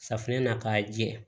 Safunɛ na k'a jɛ